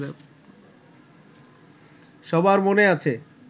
সবার মনে আছে